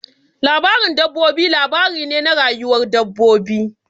Labarin dabbobi labari ne na rayuwar dabbobi.